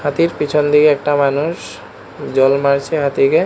হাতির পিছনদিকে একটা মানুষ জল মারছে হাতিকে।